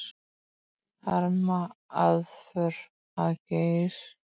Harma aðför að Geir